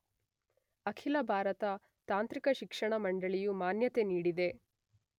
ಅಖಿಲ ಭಾರತ ತಾಂತ್ರಿಕ ಶಿಕ್ಷಣ ಮಂಡಳಿ ಯು ಮಾನ್ಯತೆ ನೀಡಿದೆ .